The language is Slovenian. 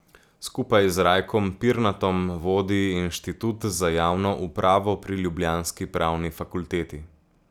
Skupaj z Rajkom Pirnatom vodi Inštitut za javno upravo pri ljubljanski pravni fakulteti.